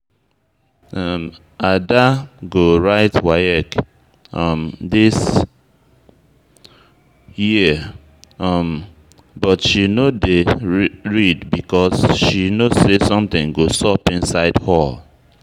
Ada go write WAEC um this year um but she no dey read because she no say something go sup inside hall